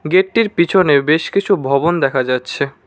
গেটটির পিছনে বেশ কিছু ভবন দেখা যাচ্ছে।